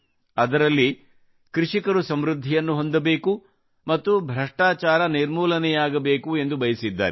ಅದರಲ್ಲಿ ಕೃಷಿಕರು ಸಮೃದ್ಧಿಯನ್ನು ಹೊಂದಬೇಕು ಮತ್ತು ಭ್ರಷ್ಟಾಚಾರ ನಿರ್ಮೂಲನೆಯಾಗಬೇಕು ಎಂದು ಬಯಸಿದ್ದಾರೆ